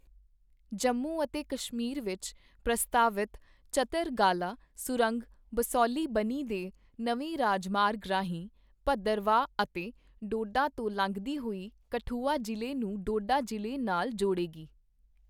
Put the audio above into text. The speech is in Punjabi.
ਜੰਮੂ ਅਤੇ ਕਸ਼ਮੀਰ ਵਿਚ ਪ੍ਰਸਤਾਵਿਤ ਚਤਰਗਾਲਾ ਸੁਰੰਗ ਬਸੋਲੀ ਬਨੀ ਦੇ ਨਵੇਂ ਰਾਜਮਾਰਗ ਰਾਹੀਂ ਭੱਦਰਵਾਹ ਅਤੇ ਡੋਡਾ ਤੋਂ ਲੰਘਦੀ ਹੋਈ ਕਠੂਆ ਜ਼ਿਲ੍ਹੇ ਨੂੰ ਡੋਡਾ ਜ਼ਿਲ੍ਹੇ ਨਾਲ ਜੋਡ਼ੇਗੀ।